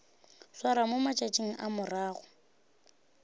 swarwa mo matšatšing a morago